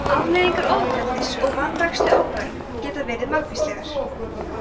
afleiðingar ofbeldis og vanrækslu á börn geta verið margvíslegar